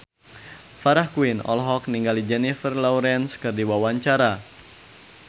Farah Quinn olohok ningali Jennifer Lawrence keur diwawancara